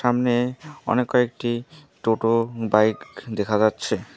সামনে অনেক কয়েকটি টোটো বাইক দেখা যাচ্ছে।